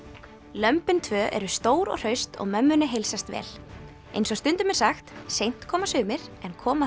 lömbin tvö eru stór og hraust og mömmunni heilsast vel eins og stundum er sagt seint koma sumir en koma